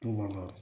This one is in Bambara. Tun ma